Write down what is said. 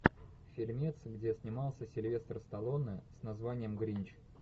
фильмец где снимался сильвестр сталлоне с названием гринч